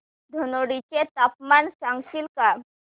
धनोडी चे तापमान सांगशील का